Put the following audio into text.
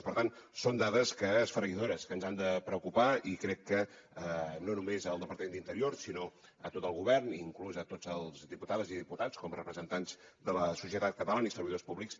per tant són dades esfereïdores que ens han de preocupar i crec que no només al departament d’interior sinó a tot el govern i inclús a totes les diputades i diputats com a representants de la societat catalana i servidors públics